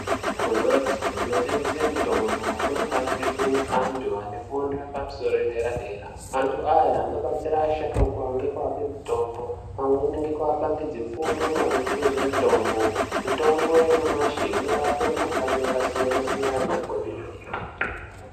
Kumhatso inotengese mitombo kunofanire kune antu ane fundo yepamusoro yedera-dera. Antu aya anobatsira asharukwa ngekuape mitombo pamweni ngekuapangidze fundo maringe ngezvemitombo. Mitombo yanyamashi inorape mikhuhlani yakasiyana-siyana kwemene.